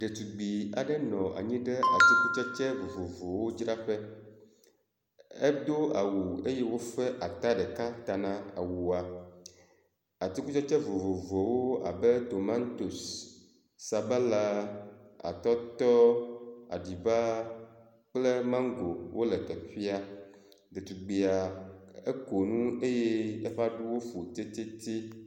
Ɖetugbi aɖe nɔ anyi ɖe atikutsetse vovovowo dzraƒe. Edo awu eye wofẽ ata ɖeka ta na awua. Atikutsetse vovovowo abe tomatosi, sabala, atɔtɔ, aɖiba kple maŋgo wole teƒea. Ɖetugbia eko nu eye eƒe aɖuwo fu tititi.